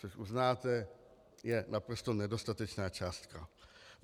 Což uznáte, je naprosto nedostatečná částka.